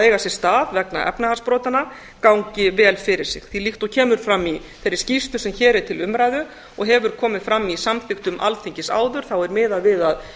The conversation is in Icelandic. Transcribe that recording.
eiga sér stað vegna efnahagsbrotanna gangi vel fyrir sig því líkt og kemur fram í þeirri skýrslu sem hér er til umræðu og hefur komið fram í samþykktum alþingi áður er miðað við að